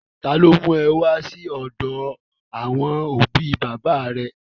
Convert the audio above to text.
Ta ló mú ọ wá sí ọ̀dọ àwọn òbí bàbá à rẹ?